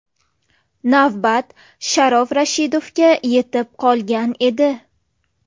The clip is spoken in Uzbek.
Navbat Sharof Rashidovga yetib qolgan edi.